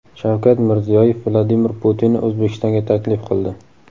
Shavkat Mirziyoyev Vladimir Putinni O‘zbekistonga taklif qildi.